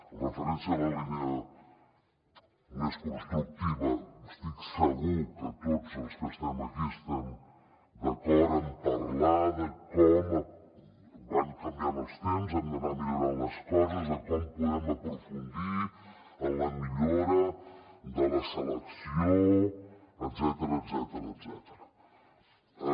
amb referència a la línia més constructiva estic segur que tots els que estem aquí estem d’acord amb parlar de com van canviant els temps hem d’anar millorant les coses de com podem aprofundir en la millora de la selecció etcètera